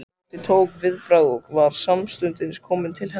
Tóti tók viðbragð og var samstundis kominn til hennar.